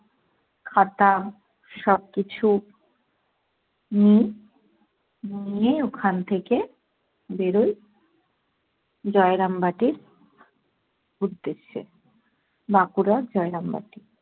খাতা সবকিছু নি। নিয়ে ওখান থেকে বেড়োই। জয়রামবাটির উদ্দেশ্যে, বাঁকুড়া জয়রামবাটি।